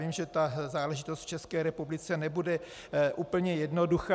Vím, že ta záležitost v České republice nebude úplně jednoduchá.